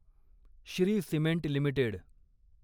Shri cement limited